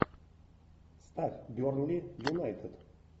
ставь бернли юнайтед